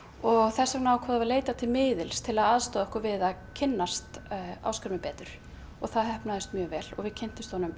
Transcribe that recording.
þess vegna ákváðum við að leita til miðils til að aðstoða okkur við að kynnast Ásgrími betur og það heppnaðist mjög vel og við kynntumst honum